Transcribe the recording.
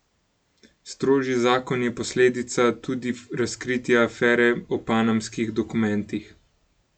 Strožji zakon je posledica tudi razkritja afere o Panamskih dokumentih.